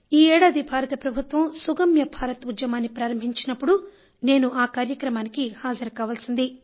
ఈ ఏడాది భారత్ ప్రభుత్వం సుగమ్య భారత్ ఉద్యమాన్ని ప్రారంభించినప్పుడు నేను ఆ కార్యక్రమానికి హాజరు కావలసింది